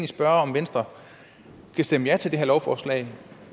spørge om venstre kan stemme ja til det her lovforslag